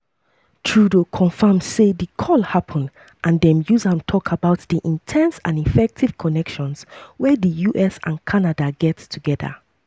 trudeau confam say di call happun and dem use am tok abut di "in ten se and effective" connections wey di us and canada get togeda.